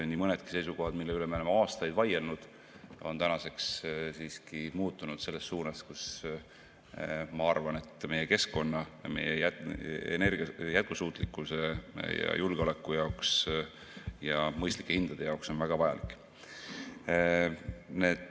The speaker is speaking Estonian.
Nii mõnedki seisukohad, mille üle me oleme aastaid vaielnud, on tänaseks muutunud selles suunas, mis, ma arvan, on meie keskkonna ja energia jätkusuutlikkuse ja julgeoleku jaoks ja mõistlike hindade jaoks väga vajalik.